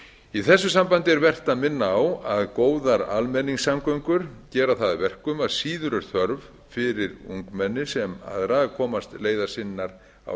í þessu sambandi er vert að minna á að góðar almenningssamgöngur gera það að verkum að síður er þörf fyrir ungmenni sem aðra að komast leiðar sinnar á